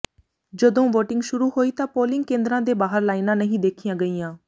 ਜਦੋਂ ਵੋਟਿੰਗ ਸ਼ੁਰੂ ਹੋਈ ਤਾਂ ਪੋਲਿੰਗ ਕੇਂਦਰਾਂ ਦੇ ਬਾਹਰ ਲਾਈਨਾਂ ਨਹੀਂ ਦੇਖੀਆਂ ਗਈਆਂ